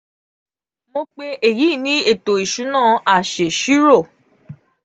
mo pe eyi ni eto isuna asesiro.